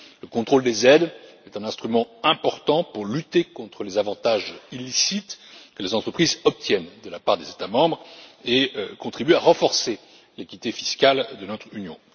Le contrôle des aides est un instrument important pour lutter contre les avantages illicites que les entreprises obtiennent de la part des États membres et contribue à renforcer l'équité fiscale de notre union.